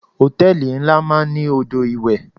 Hòtẹ́lìì ńlá máa ń ní odò ìwẹ̀.